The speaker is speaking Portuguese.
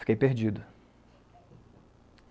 Fiquei perdido.